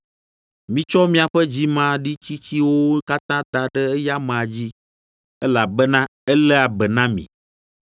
Mitsɔ miaƒe dzimaɖitsitsiwo katã da ɖe eya amea dzi, elabena eléa be na mi.